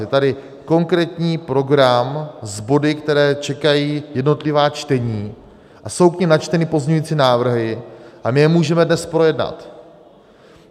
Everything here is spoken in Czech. Je tady konkrétní program s body, které čekají jednotlivá čtení, a jsou k nim načteny pozměňující návrhy, a my je můžeme dnes projednat.